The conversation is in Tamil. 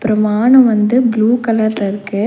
அப்றோ மானோ வந்து ப்ளூ கலர்ல இருக்கு.